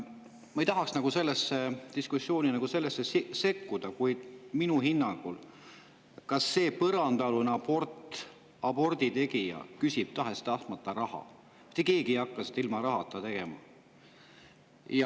Ma ei tahaks sellesse diskussiooni sekkuda, kuid tahes-tahtmata küsib ka see põrandaalune aborditegija raha, mitte keegi ei hakka seda tegema ilma rahata.